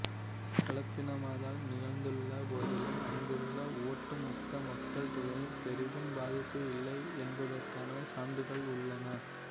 கலப்பினமாதல் நிகழ்ந்துள்ள போதிலும் அங்குள்ள ஒட்டுமொத்த மக்கள்தொகையில் பெரிதும் பாதிப்பும் இல்லை என்பதற்கான சான்றுகள் உள்ளன